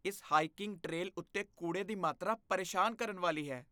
ਇਸ hiking trail ਉੱਤੇ ਕੂੜੇ ਦੀ ਮਾਤਰਾ ਪਰੇਸ਼ਾਨ ਕਰਨ ਵਾਲੀ ਹੈ।